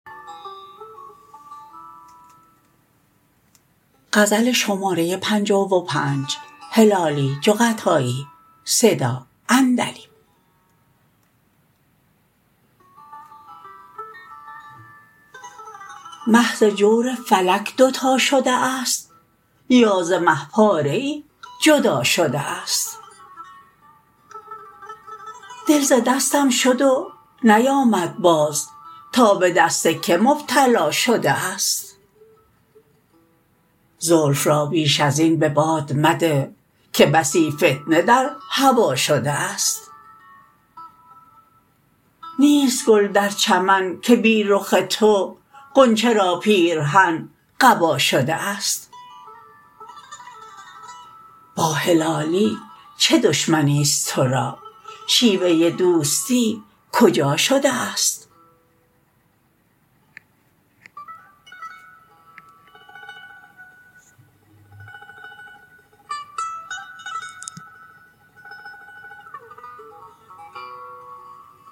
مه ز جور فلک دوتا شده است یا ز مه پاره ای جدا شده است دل ز دستم شد و نیامد باز تا بدست که مبتلا شده است زلف را بیش ازین بباد مده که بسی فتنه در هوا شده است نیست گل در چمن که بی رخ تو غنچه را پیرهن قبا شده است با هلالی چه دشمنیست ترا شیوه دوستی کجا شده است